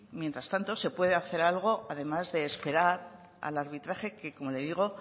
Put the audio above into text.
mientras tanto se puede hacer algo además de esperar al arbitraje que como le digo